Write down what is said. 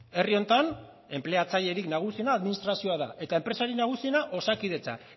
herri honetan enpleatzailerik nagusiena administrazioa da eta enpresarik nagusiena osakidetza